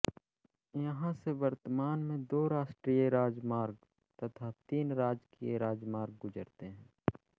यहाँ से वर्तमान में दो राष्ट्रीय राजमार्ग तथा तीन राजकीय राजमार्ग गुजरते हैं